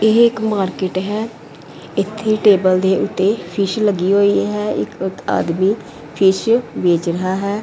ਇਹ ਇੱਕ ਮਾਰਕੀਟ ਹੈ ਇੱਥੇ ਟੇਬਲ ਦੇ ਉੱਤੇ ਫਿਸ਼ ਲੱਗੀ ਹੋਈ ਹੈ ਇੱਕ ਆਦਮੀ ਫਿਸ਼ ਵੇਚ ਰਿਹਾ ਹੈ।